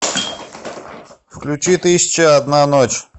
включи тысяча и одна ночь